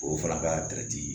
O fana ka